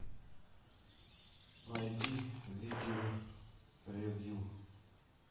найди видео ревью